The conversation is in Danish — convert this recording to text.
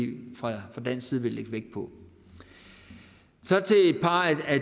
fra dansk side vil lægge vægt på så til et par af